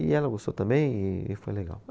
E ela gostou também e e foi legal.